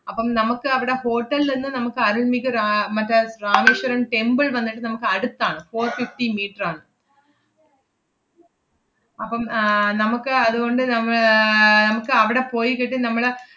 അപ്പം നമ്മക്കവടെ hotel ൽ ~ന്ന് നമ്മക്ക് അരുണിക് രാ~ ആഹ് മറ്റേ രാമേശ്വരം temple വന്നിട്ട് നമ്മക്ക് അടുത്താണ്, four fifty meter ആണ്. അപ്പം ആഹ് നമ്മക്ക് അതുകൊണ്ട് നമ്മ~ ആഹ് ~മ്മക്ക് അവടെ പോയിക്കിട്ട് നമ്മള്,